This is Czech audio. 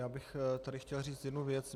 Já bych tady chtěl říci jednu věc.